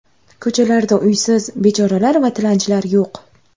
Ko‘chalarda uysiz bechoralar va tilanchilar yo‘q.